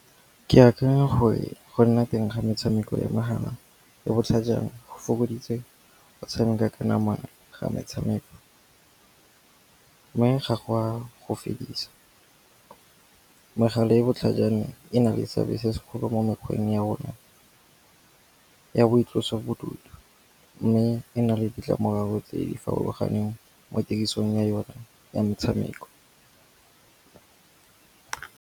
Ke akanya gore go nna teng ga metshameko ya mogala e botlhajana go fokoditse go tshameka ka nama ga metshameko, mme ga gwa go fedisa. Megala e botlhajana e na le seabe se segolo mo mekgweng ya rona, ya boitlosobodutu. Mme e na le ditlamorago tse di farologaneng mo tirisong ya yone ya metshameko.